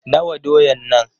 Nawa doyan nan?